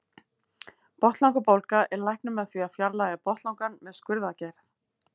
Botnlangabólga er læknuð með því að fjarlægja botnlangann með skurðaðgerð.